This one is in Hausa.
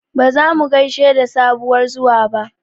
Ba zasu gaishe da sabuwar zuwa ba